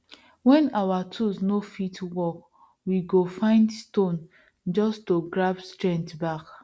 when our tools no fit work we go find stone just to grab strength back